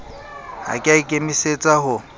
ha ke a ikemisetsa ho